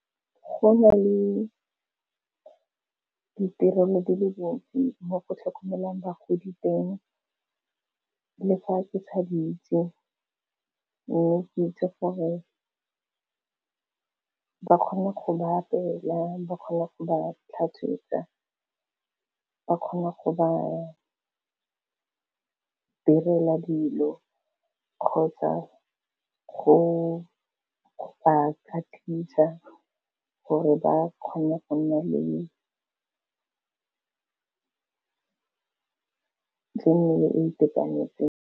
Go na le ditirelo di le dintsi mo go tlhokomelang bagodi teng le fa ke sa di itse, mme ke itse gore ba kgona go ba apeela, ba kgone go ba tlhatswetsa, ba kgone go ba direla dilo kgotsa go ba tlhapisa gore ba kgone go nna le mmele e itekanetseng.